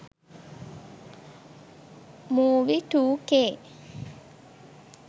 movie2k